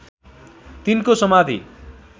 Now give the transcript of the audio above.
तिनको समाधि